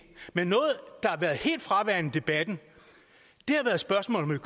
men noget der har været helt fraværende i debatten er spørgsmålet